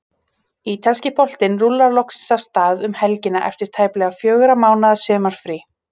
Ítalski boltinn rúllar loksins af stað um helgina eftir tæplega fjögurra mánaða sumarfrí.